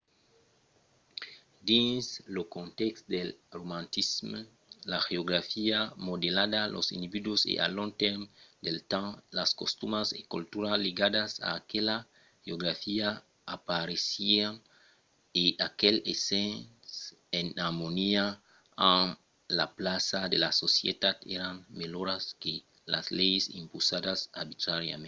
dins lo contèxt del romantisme la geografia modelava los individus e al long del temps las costumas e cultura ligadas a aquela geografia apareissián e aquelas essent en armonia amb la plaça de la societat èran melhoras que las leis impausadas arbitràriament